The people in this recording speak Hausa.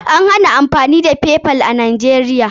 An hana amfani da Paypal a Najeriya.